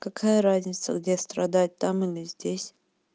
какая разница где страдать там или здесь